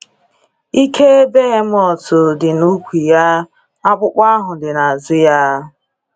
“Ike Behemoth dị na ukwu ya”—akpụkpọ ahụ dị n’azụ ya.